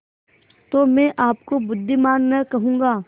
तो मैं आपको बुद्विमान न कहूँगा